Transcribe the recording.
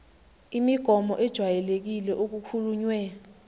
imigomo ejwayelekile okukhulunywe